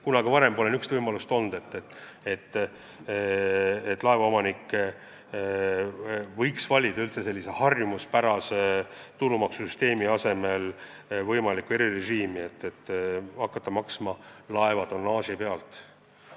Kunagi varem pole olnud võimalust, et laevaomanik saab valida harjumuspärase tulumaksu maksmise asemel erirežiimi, et hakata maksma tasu laeva tonnaži pealt.